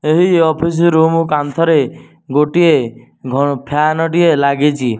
ଏହି office room କାନ୍ଥରେ ଗୋଟିଏ ଘ ଫ୍ୟାନ ଟିଏ ଲାଗିଚି।